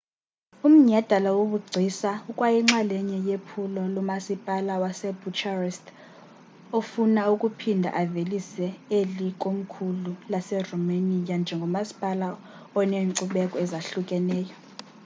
umnyhadala wobugcisa ukwayinxalenye yephulo lomasipala wasbucharest ofuna ukuphinda avelise eli komkhulu laseromania njengomasipala oneenkcubeko ezahlukahlukeneyo